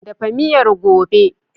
Dafa miyar gobe!